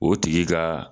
O tigi ka